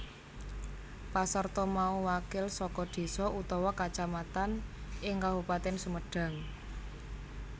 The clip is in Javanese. Pasarta mau wakil saka désa utawa kacamatan ing Kabupatèn Sumedang